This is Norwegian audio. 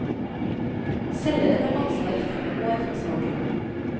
Selgeren har ansvar i fem år fra salget.